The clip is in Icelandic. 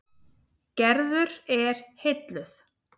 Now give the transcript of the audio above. Gerður er heilluð.